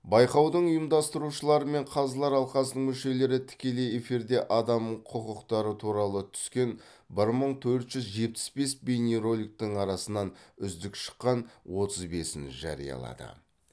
байқаудың ұйымдастырушылары мен қазылар алқасының мүшелері тікелей эфирде адам құқықтары туралы түскен бір мың төрт жүз жетпіс бес бейнероликтің арасынан үздік шыққан отыз бесін жариялады